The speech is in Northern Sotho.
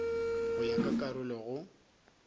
go ya ka karolo go